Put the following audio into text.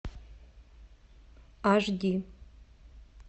аш ди